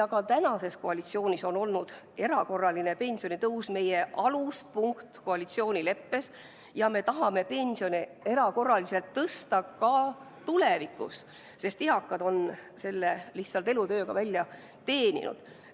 Ka tänases koalitsioonis on erakorraline pensionitõus meie koalitsioonileppe aluspunkt ja me tahame pensione erakorraliselt tõsta ka tulevikus, sest eakad on selle lihtsalt elutööga välja teeninud.